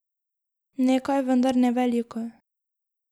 Nekaj, vendar ne veliko.